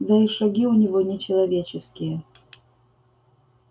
да и шаги у него не человеческие